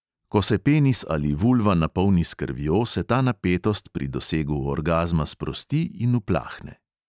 Ko se penis ali vulva napolni s krvjo, se ta napetost pri dosegu orgazma sprosti in uplahne.